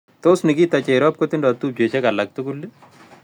Tos' nikita cherop kotindo tupchosyeg alak tugul ii